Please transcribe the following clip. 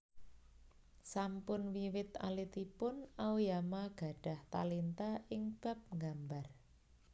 Sampun wiwit alitipun Aoyama gadhah talenta ing bab nggambar